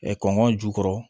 kɔngɔ jukɔrɔ